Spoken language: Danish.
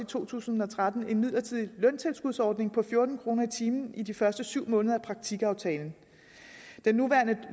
to tusind og tretten en midlertidig løntilskudsordning på fjorten kroner i timen i de første syv måneder af praktikaftalen den nuværende